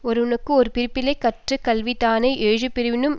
ஒருவனுக்கு ஒரு பிறப்பிலே கற்ற கல்வி தானே எழுபிறப்பினும்